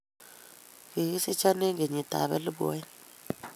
Kigisicho eng kenyitab elbu aeng